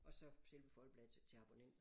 Og så selve Folkebladet til til abonnenter